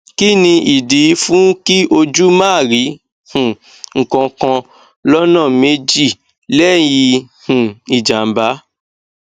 kini idi fun ki oju ma ri um nkan kan lona meji leyi um ijamba